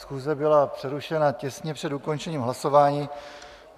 Schůze byla přerušena těsně před ukončením hlasování.